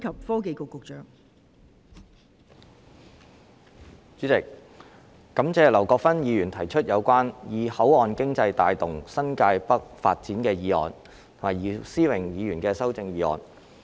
代理主席，感謝劉國勳議員提出"以口岸經濟帶動新界北發展"議案和姚思榮議員的修正案。